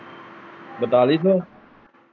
ਬਤਾਲੀ ਸ਼ੌ।